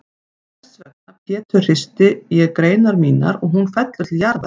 Og þessvegna Pétur hristi ég greinar mínar og hún fellur til jarðar.